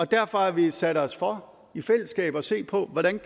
derfor har vi sat os for i fællesskab at se på hvordan